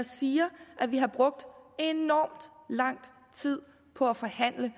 siger at vi har brugt enormt lang tid på at forhandle